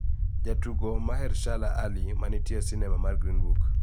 Jatugo Mahershala Ali ma nitie e sinema mar Green Book,